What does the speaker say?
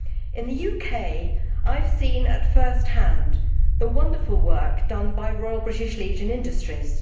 In the UK I have seen at first hand the wonderful work done by Royal British Legion Industries.